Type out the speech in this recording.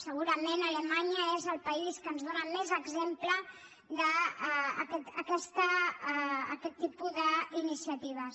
segurament alemanya és el país que ens dóna més exemple d’aquest tipus d’iniciatives